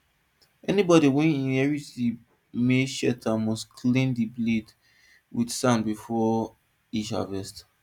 anybody wey inherit di maize sheller must clean di blade with sand before each harvest